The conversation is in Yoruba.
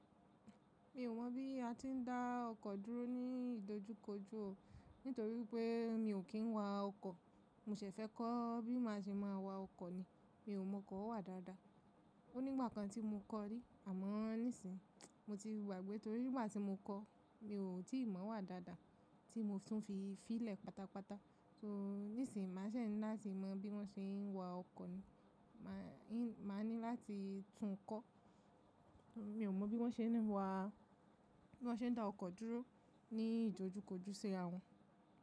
Mi ò mọ̀ bí a ti ń dá ọkọ̀ dúró ní ìdojúkojú o, nítorí pé mi ò kí ń wa ọkọ̀. Mo ṣẹ̀ fẹ́ kọ́ bí máa ṣe máa wa ọkọ̀ ni. Mi ò mọ̀ ọkọ wà dáadáa. Ó nígbà kan tí mo kọ́ rí àmọ́ nísìń, mo ti gba gbé torí nígbà tí mo kọ́ mi ò tíì mọ̀ wá dáadáa tí mo tún fi fílẹ̀ pátápátá. So nísìń màá ṣè ní láti mọ bí wọ́n ṣe ń wa ọkọ̀ ni. Má a ní láti tún kọ́. Mi ò mọ̀ bí wọ́n ṣe ń wa, bí wọ́n ṣe ń dá ọkọ̀ dúró ní ìdojúkojú sira wọn.